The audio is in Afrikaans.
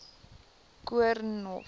koornhof